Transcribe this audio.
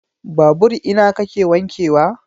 Babur ina kake wanke wa?